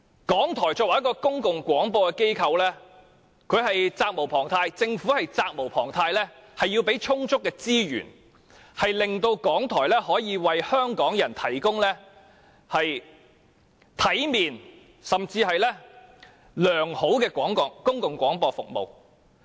港台作為公共廣播機構，政府提供充足的資源是責無旁貸的，從而令港台可以為香港人提供體面甚至是良好的公共廣播服務。